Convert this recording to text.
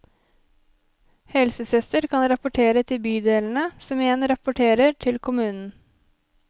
Helsesøster kan rapportere til bydelene, som igjen rapporterer til kommunen.